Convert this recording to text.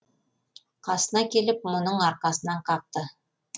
қасына келіп мұның арқасынан қақты